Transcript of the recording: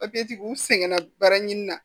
u sɛgɛnna baara ɲini na